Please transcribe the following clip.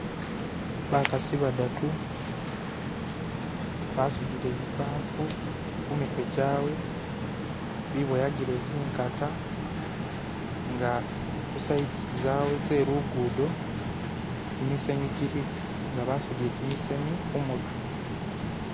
Bakasi badatu basudile zibafu kumitwe jawe biboyagile zingata nga ku lubega lwawe lwe lugudo jimisenyu jiliko nga basudile jimisenyu kumutwe.